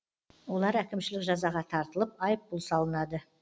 олар әкімшілік жазаға тартылып айыппұл салынады